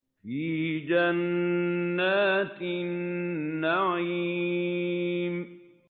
فِي جَنَّاتِ النَّعِيمِ